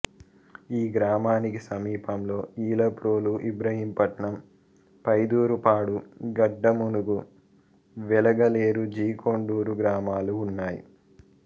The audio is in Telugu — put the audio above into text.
ఈ గ్రామానికి సమీపంలో ఈలప్రోలుఇబ్రహీంపట్నం పైదూరుపాడు గడ్డమనుగు వెలగలేరు జి కొండూరు గ్రామాలు ఉన్నాయి